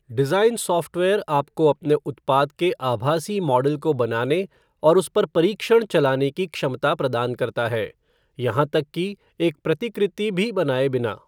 Design software आपको अपने उत्पाद के आभासी मॉडल को बनाने और उस पर परीक्षण चलाने की क्षमता प्रदान करता है, यहाँ तक कि एक प्रतिकृति भी बनाए बिना।